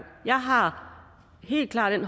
jeg har helt klart